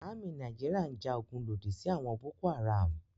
Àmì Nàìjíríà ń ja ogun lòdì sí àwọn Boko-Haram.